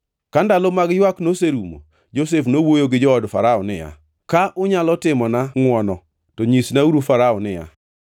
Ka ndalo mag ywak noserumo, Josef nowuoyo gi jood Farao niya, “Ka unyalo timona ngʼwono, to nyisnauru Farao niya,